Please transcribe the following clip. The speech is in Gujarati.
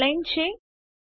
આ ટાઇમલાઇનના છે